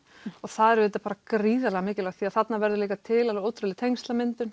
og það er auðvitað gríðarlega mikilvægt því þarna verður til ótrúleg tengslamyndun